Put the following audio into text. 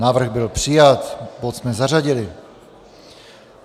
Návrh byl přijat, bod jsme zařadili.